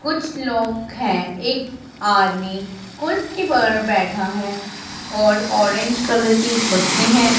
कुछ लोग हैं। एक आदमी कुर्सी पर बैठा है और ऑरेंज कलर की कुर्सी है।